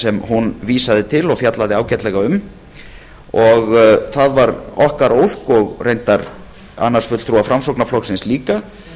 sem hún vísaði til og fjallaði ágætlega um það var okkar ósk og reyndar annars fulltrúa framsóknarflokksins líka